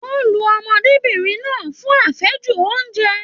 Wọn lu ọmọdébinrin náà fún afẹju ounjẹ.